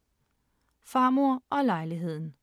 Farmor og lejligheden